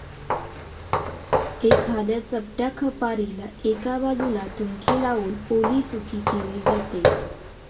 एखाद्या चपट्या खपारीला एका बाजूला थुंकी लावून ओलीसुकी केली जाते.